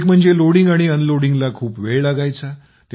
एक म्हणजे लोडिंग आणि अनलोडिंगला खूप वेळ लागायचा